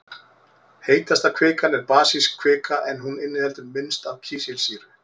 Heitasta kvikan er basísk kvika en hún inniheldur minnst af kísilsýru.